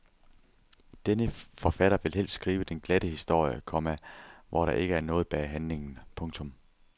Denne forfatter vil helst skrive den glatte historie, komma hvor der ikke er noget bag handlingen. punktum